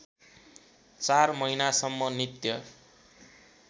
चार महिनासम्म नित्य